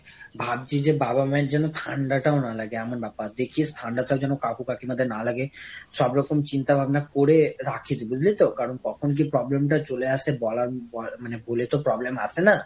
ভাবছি যে বাবা মায়ের যেন ঠান্ডাটা ও না লাগে এমন ব্যাপার। দেখিস ঠান্ডা টাও যেন কাকু কাকিমাদের না লাগে। সব রকম চিন্তা ভাবনা করে রাখিস বুঝলি তো? কারণ কখন যে problem টা চলে আসে বলা~ মানে বলে তো problem আসে না!